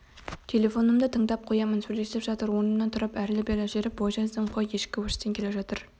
телефонымды тыңдап қоямын сөйлесіп жатыр орнымнан тұрып әрлі-берлі жүріп бой жаздым қой кешкі өрістен келе жатыр